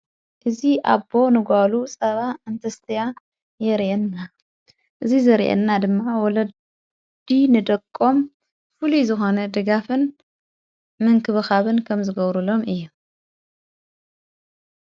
እዙ ኣቦ ንጓሉ ሰባ እንትስጢያ የርእየና እዙ ዘርየና ድማ ወለዲ ንደቆም ፍሉይ ዝኾነ ድጋፍን ምንክብኻብን ከም ዝገብሩሎም እዩ።